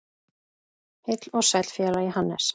Heill og sæll félagi Hannes!